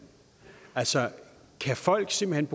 altså kan folk simpelt